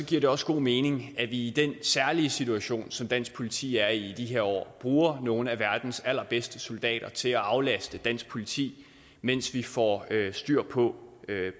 giver det også god mening at vi i den særlige situation som dansk politi er i i de her år bruger nogle af verdens allerbedste soldater til at aflaste dansk politi mens vi får styr på